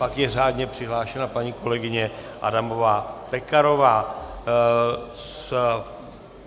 Pak je řádně přihlášena paní kolegyně Adamová Pekarová.